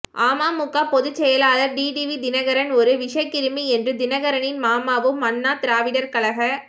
அமமுக பொதுச் செயலாளர் டிடிவி தினகரன் ஒரு விஷக் கிருமி என்று தினகரனின் மாமாவும் அண்ணா திராவிடர் கழக